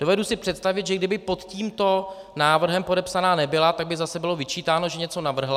Dovedu si představit, že kdyby pod tímto návrhem podepsaná nebyla, tak by zase bylo vyčítáno, že něco navrhla.